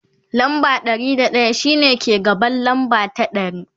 lamba Ɗari da daya shine ke gaban lamba ta ɗari